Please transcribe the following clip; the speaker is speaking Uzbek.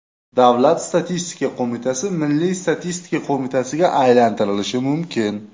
Davlat statistika qo‘mitasi Milliy statistika qo‘mitasiga aylantirilishi mumkin.